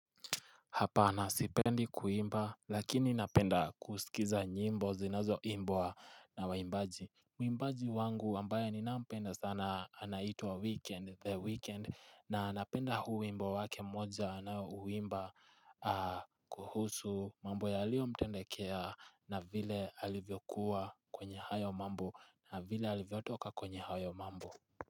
Hapana sipendi kuimba lakini napenda kusikiza nyimbo zinazoimbwa na waimbaji Mwimbaji wangu ambaye ninayempenda sana anaitwa weekend the weekend na napenda huu wimbo wake moja anaouimba kuhusu mambo yalio mtendekea na vile alivyokuwa kwenye hayo mambo na vile alivyotoka kwenye hayo mambo.